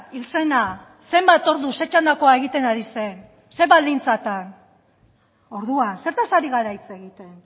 hil zena zenbat ordu zer txandakoa egiten ari zen zer baldintzatan orduan zertaz ari gara hitz egiten